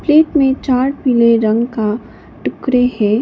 Plate में चार पीले रंग का टुकड़े हैं।